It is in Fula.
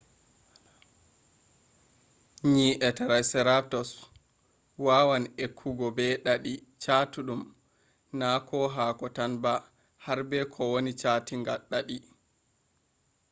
nyi’e triceratops’ wawan ekkugo ko be ɗaɗi chatuɗum na haako tan ba har be kowani saatinga ɗaɗi